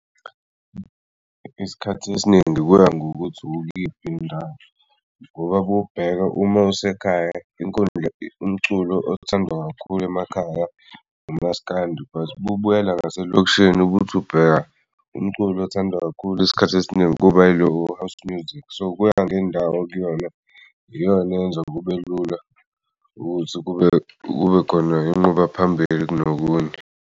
Isikhathi esiningi kuya ngokuthi ukuyiphi ndawo ngoba bubheka uma usekhaya umculo othandwa kakhulu emakhaya umaskandi but bubuyela ngaselokishini ubuthi ubheka umculo othandwa kakhulu isikhathi esiningi kuba ilo we-house music. So, kuya ngendawo okuyona iyona eyenza kubelula ukuthi kubekhona inquba phambili kunokunye.